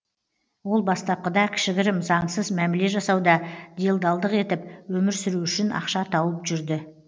ол бастапқыда кішігірім заңсыз мәміле жасауда делдалдық етіп өмір сүру үшін ақша тауып жүрді